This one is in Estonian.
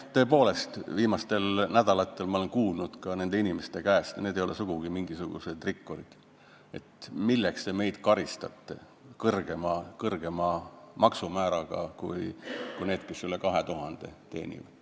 Tõepoolest, viimastel nädalatel olen ma kuulnud ka nende inimeste käest küsimust – ja need ei ole sugugi mingisugused rikkurid –, et milleks neid karistatakse kõrgema maksumääraga, kui on neil, kes teenivad üle 2000 euro.